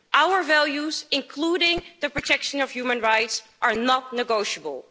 Our values, including the protection of human rights, are not negotiable.